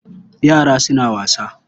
Yara suna wasa.